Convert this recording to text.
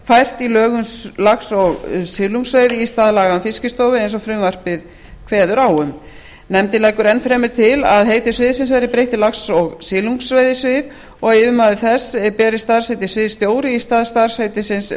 í lög um lax og silungsveiði í stað laga um fiskistofu eins og frumvarpið kveður á um nefndin leggur enn fremur til að heiti sviðsins verði breytt í lax og silungsveiðisvið og að yfirmaður þess beri starfsheitið sviðsstjóri í stað starfsheitisins